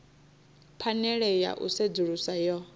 phanele ya u sedzulusa yo